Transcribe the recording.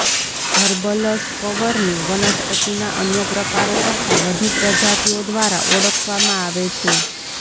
હર્બલસ કવરને વનસ્પતિના અન્ય પ્રકારો કરતા વધુ પ્રજાતિઓ દ્વારા ઓળખવામાં આવે છે